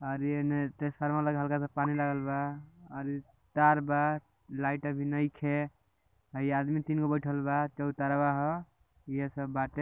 आर इ ट्रांफॉमर मा राखल बा पानी लागल बा और इ तार बा लाइट भी अभी नहीं खे और इ आदमी तीन गो बेठल बा चौतरवा ह इ सब बाटे |